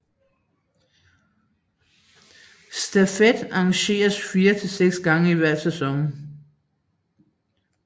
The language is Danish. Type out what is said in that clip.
Stafet arrangeres fire til seks gange i hver sæson